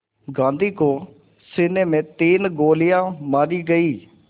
गांधी को सीने में तीन गोलियां मारी गईं